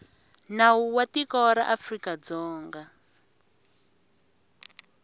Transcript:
nawu wa tiko ra afrikadzonga